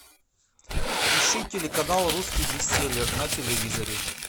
ищи телеканал русский бестселлер на телевизоре